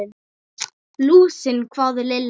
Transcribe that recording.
Lúsina? hváði Lilla.